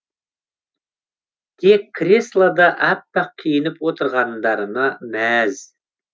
тек креслода аппақ киініп отырғандарына мәз